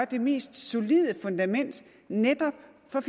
det mest solide fundament netop for